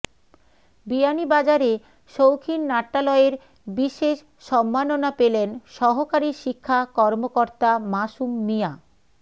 বিয়ানীবাজারে শৌখিন নাট্যালয়ের বিশেষ সম্মাননা পেলেন সহকারি শিক্ষা কর্মকর্তা মাসুম মিয়া